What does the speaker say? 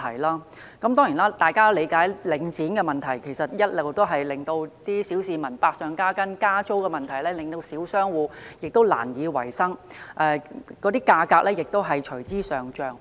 大家都理解，領展的壟斷問題其實一直令小市民生活百上加斤，而領展的加租問題則令小商戶難以維生，物價亦隨之上漲。